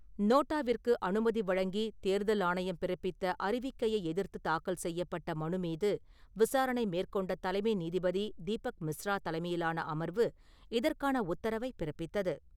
நோட்டாவிற்கு அனுமதி வழங்கி தேர்தல் ஆணையம் பிறப்பித்த அறிவிக்கையை எதிர்த்து தாக்கல் செய்யப்பட்ட மனுமீது, விசாரணை மேற்கொண்ட தலைமை நீதிபதி தீபக் மிஸ்ரா தலைமையிலான அமர்வு இதற்கான உத்தரவை பிறப்பித்தது.